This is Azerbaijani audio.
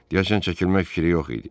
Dişən çəkilmək fikri yox idi.